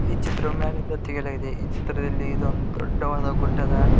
ಈ ಚಿತ್ರವನ್ನು ಮ್ಯಾಗಿಂದ ತೆಗೆಯಲಾಗಿದೆ ಈ ಚಿತ್ರದಲ್ಲಿ ಇದು ಒಂದ್ ದೊಡ್ಡವಾದ ಗುಡ್ಡದ --